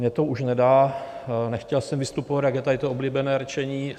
Mně to už nedá, nechtěl jsem vystupovat, jak je tady to oblíbené rčení.